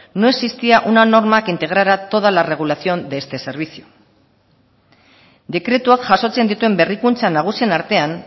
no existía una norma que integrara toda la regulación de este servicio dekretuak jasotzen dituen berrikuntza nagusien artean